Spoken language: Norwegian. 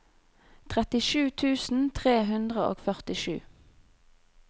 trettisju tusen tre hundre og førtisju